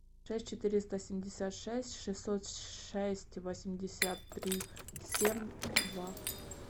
шесть четыреста семьдесят шесть шестьсот шесть восемьдесят три семь два